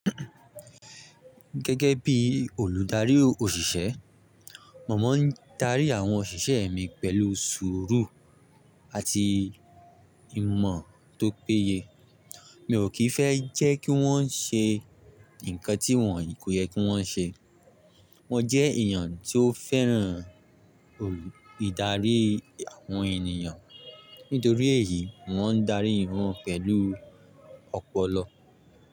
Gẹ́gẹ́ bí olùdarí òṣìṣẹ́, màá ń darí àwọn òṣìṣẹ́ mi pẹ̀lú sùúrù àti ìmọ̀ tó péye. Mi ò kì í fẹ́ jẹ́ kí wọ́n ṣe nǹkan tí wọn kò yẹ kí wọ́n ṣe. Mo jẹ́ èèyàn tó fẹ́ràn ìdarí àwọn ènìyàn, nítorí èyí, mo ń darí wọn pẹ̀lú ọpọlọ.